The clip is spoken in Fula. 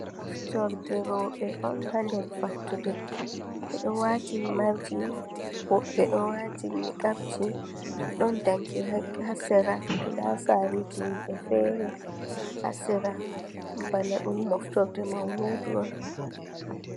Rowɓe on haa nder fattude. Ɓe ɗo waati himarji, woɓɓe ɗo waati niqabji. Ɗon danki haa sera, saaluji himɓe fere haa sera. Bana ɗum moftorde mauludu on.